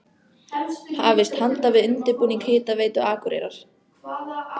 Hafist handa við undirbúning Hitaveitu Akureyrar.